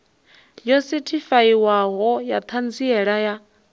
yo sethifaiwaho ya ṱhanziela ya